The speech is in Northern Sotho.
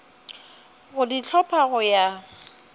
go di hlopha go ya